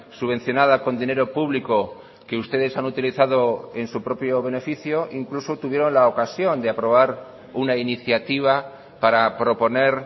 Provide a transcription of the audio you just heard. subvencionada con dinero público que ustedes han utilizado en su propio beneficio incluso tuvieron la ocasión de aprobar una iniciativa para proponer